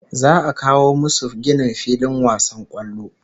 Za'a a kawo musu ginin filin wasan kwallo